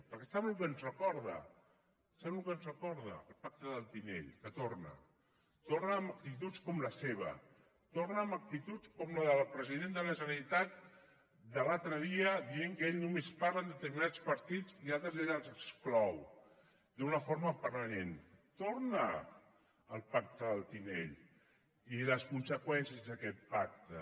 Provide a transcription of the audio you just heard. perquè sap el que ens recorda sap el que ens recorda el pacte del tinell que torna torna amb actituds com la seva torna amb actituds com la del president de la generalitat de l’altre dia dient que ell només parla amb determinats partits i altres ell els exclou d’una forma permanent torna el pacte del tinell i les conseqüències d’aquest pacte